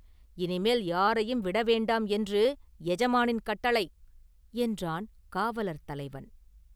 இனிமேல் யாரையும் விடவேண்டாம் என்று எஜமானின் கட்டளை!” என்றான் காவலர் தலைவன்.